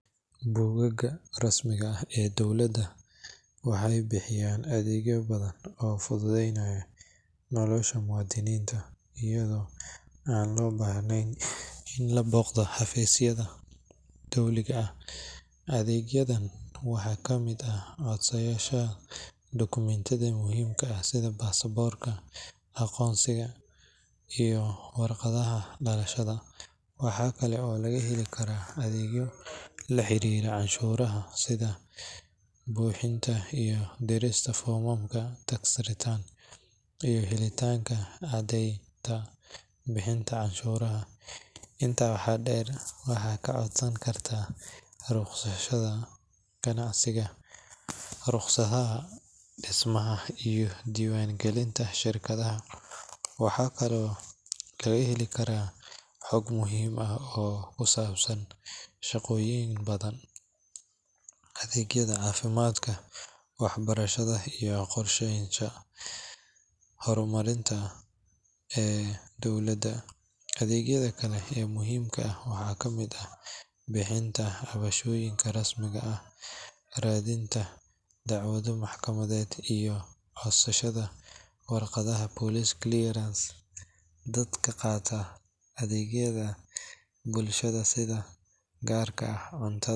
Bogagga rasmiga ah ee dowladda waxay bixiyaan adeegyo badan oo fududeynaya nolosha muwaadiniinta, iyadoo aan loo baahnayn in la booqdo xafiisyada dowliga ah. Adeegyadan waxaa ka mid ah codsashada dukumeentiyada muhiimka ah sida baasaboorka, aqoonsiga, iyo warqadda dhalashada. Waxa kale oo laga heli karaa adeegyo la xiriira canshuuraha sida buuxinta iyo dirista foomamka tax return iyo helitaanka caddaynta bixinta canshuuraha. Intaa waxaa dheer, waxaad ka codsan kartaa rukhsadaha ganacsiga, ruqsadaha dhismaha, iyo diiwaangelinta shirkadaha. Waxaa kaloo laga heli karaa xog muhiim ah oo ku saabsan shaqooyinka banaan, adeegyada caafimaadka, waxbarashada iyo qorsheyaasha horumarinta ee dowladda. Adeegyada kale ee muhiimka ah waxaa ka mid ah bixinta cabashooyin rasmi ah, raadinta dacwado maxkamadeed, iyo codsashada warqadda police clearance. Dadka qaata adeegyada bulshada sida gargaarka cuntada.